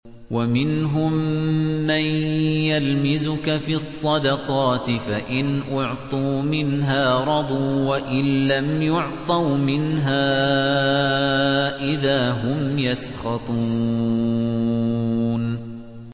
وَمِنْهُم مَّن يَلْمِزُكَ فِي الصَّدَقَاتِ فَإِنْ أُعْطُوا مِنْهَا رَضُوا وَإِن لَّمْ يُعْطَوْا مِنْهَا إِذَا هُمْ يَسْخَطُونَ